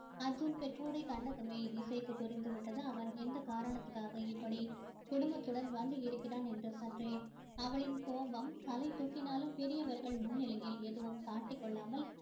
அர்ஜுன் பெற்றோரை கண்டதுமே இசைக்கு புரிந்து விட்டது அவன் எந்த காரணத்துக்காக இப்படி குடும்பத்துடன் வந்து இருக்கிறான் என்று சற்றே அவளின் கோபம் தலை தூக்கினாலும் பெரியவர்கள் முன்னிலையில் எதுவும் காட்டிக் கொள்ளாமல்